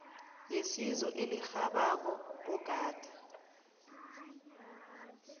yesizo elirhabako ogade